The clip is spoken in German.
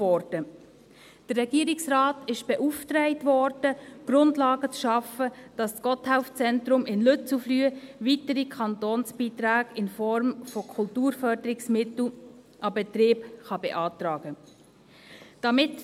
Der Regierungsrat wurde beauftragt, Grundlagen zu schaffen, damit das Gotthelf-Zentrum in Lützelflüh weitere Kantonsbeiträge in Form von Kulturförderungsmitteln an den Betrieb beantragen kann.